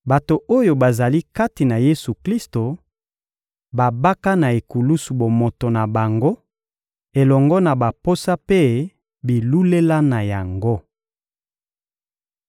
Bato oyo bazali kati na Yesu-Klisto babaka na ekulusu bomoto na bango elongo na baposa mpe bilulela na yango.